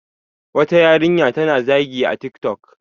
wata yarinya ta na zagi a tik tok